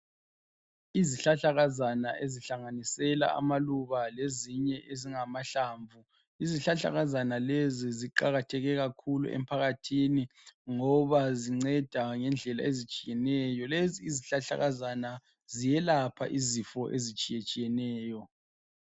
Izihlahlakazana ezihlanganisela amaluba lezinye ezingamahlamvu, izihlahlakazana lezi ziqakatheke kakhulu emphakathini ngoba zinceda ngendlela ezitshiyeneyo Lezi izihlahlakazana ziyelapha izifo ezitshiyetshiyeneyo.